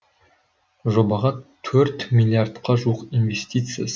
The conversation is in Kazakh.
жобаға төрт миллиардқа жуық инвестиция